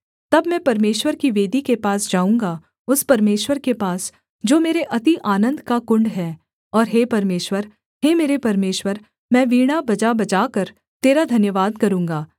तब मैं परमेश्वर की वेदी के पास जाऊँगा उस परमेश्वर के पास जो मेरे अति आनन्द का कुण्ड है और हे परमेश्वर हे मेरे परमेश्वर मैं वीणा बजाबजाकर तेरा धन्यवाद करूँगा